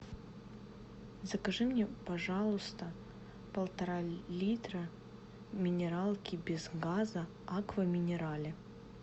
закажи мне пожалуйста полтора литра минералки без газа аква минерале